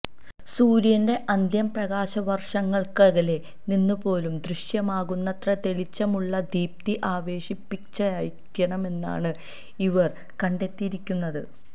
സൂര്യന്റെ അന്ത്യം പ്രകാശവര്ഷങ്ങള്ക്കകലെ നിന്നു പേലും ദൃശ്യമാകുന്നത്ര തെളിച്ചമുള്ള ദീപ്തി അവശേഷിപ്പിച്ചായിരിക്കുമെന്നാണ് ഇവർ കണ്ടെത്തിയിരിക്കുന്നത്